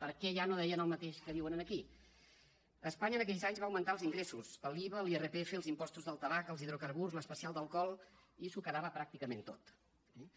per què allà no deien el mateix que diuen aquí espanya en aquells anys va augmentar els ingressos l’iva l’irpf els impostos del tabac els hidrocarburs l’especial d’alcohol i s’ho quedava pràcticament tot eh